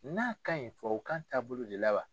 N'a ka ɲi tubabukan taabolo de la wa.